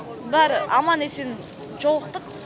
бәрі аман есен жолықтық